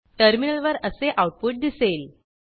टर्मिनलवर असे आऊटपुट दिसेल